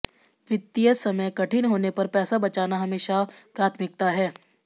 वित्तीय समय कठिन होने पर पैसा बचाना हमेशा प्राथमिकता है